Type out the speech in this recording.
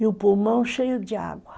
E o pulmão cheio de água.